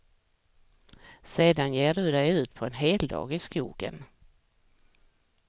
Sedan ger du dig ut på en heldag i skogen.